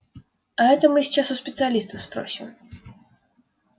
а это мы сейчас у специалистов спросим